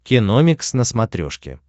киномикс на смотрешке